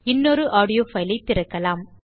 இன்னொரு audio file திறக்கலாம்